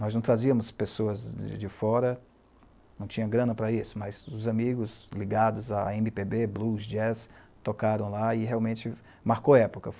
Nós não trazíamos pessoas de de fora, não tinha grana para isso, mas os amigos ligados a eme pê bê, Blues, Jazz tocaram lá e realmente marcou época.